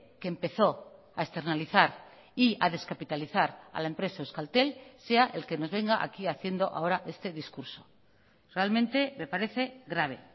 que empezó a externalizar y a descapitalizar a la empresa euskaltel sea el que nos venga aquí haciendo ahora este discurso realmente me parece grave